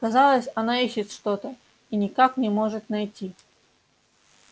казалось она ищет что то и никак не может найти